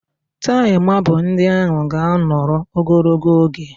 Tail mabụl ndị ahụ ga-anọrọ ogologo oge